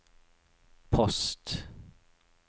post